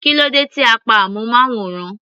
Kílódé tí a pa amúnmáwòrán.